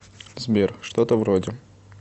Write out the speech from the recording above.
сбер что то вроде